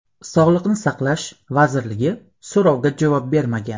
Sog‘liqni saqlash vazirligi so‘rovga javob bermagan.